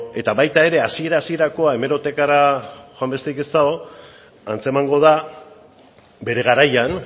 eta baita ere hasiera hasierakoa hemerotekara joan besterik ez dago antzemango da bere garaian